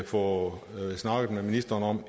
får snakket med ministeren om